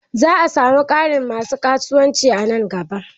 Za'a samu ƙarin masu ƙasuwanci nan gaba.